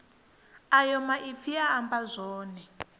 ayo maipfi a amba zwone